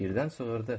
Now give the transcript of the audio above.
Birdən çığırdı.